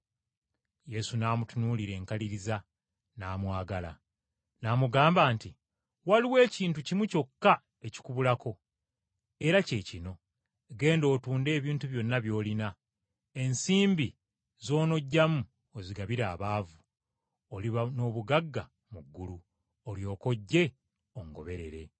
Yesu n’amutunuulira enkaliriza, n’amwagala. N’amugamba nti, “Waliwo ekintu kimu kyokka ekikubulako, era kye kino: genda otunde ebintu byonna by’olina, ensimbi z’onoggyamu ozigabire abaavu, oliba n’obugagga mu ggulu, olyoke ojje ongoberere.”